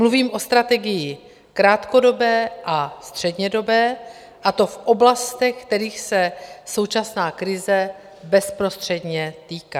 Mluvím o strategii krátkodobé a střednědobé, a to v oblastech, kterých se současná krize bezprostředně týká.